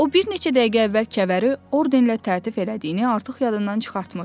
O bir neçə dəqiqə əvvəl kəvəri ordenlə təltif elədiyini artıq yadından çıxartmışdı.